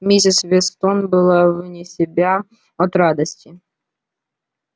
миссис вестон была вне себя от радости